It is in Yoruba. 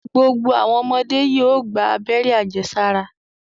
Gbogbo awọn ọmọde yoo gba abẹ́rẹ́ ajesara